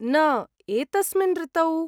न, एतस्मिन् ऋतौ ?